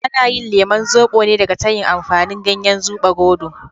Ana yin lemon zobo ne daga tayin amfani ganyen zubarodo.